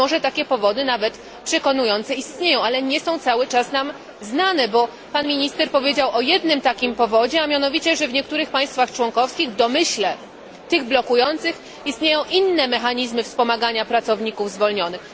A być może takie powody, nawet przekonujące, istnieją, ale nie są cały czas nam znane bo pan minister powiedział o jednym takim powodzie, a mianowicie, że w niektórych państwach członkowskich, w domyśle tych blokujących, istnieją inne mechanizmy wspomagania pracowników zwolnionych.